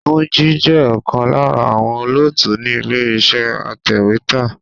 Túnjí jẹ́ ọ̀kan lára àwọn olóòtú ni ilé iṣẹ́ atèwétà.